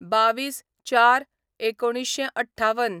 २२/०४/१९५८